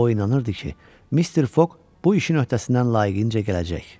O inanırdı ki, Mister Foq bu işin öhdəsindən layiqincə gələcək.